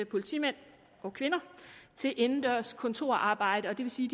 politimænd og kvinder til indendørs kontorarbejde og det vil sige